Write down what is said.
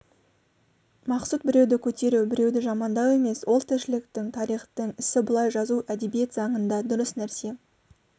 мақсұт біреуді көтеру біреуді жамандау емес ол тіршіліктің тарихтың ісі бұлай жазу әдебиет заңында дұрыс нәрсе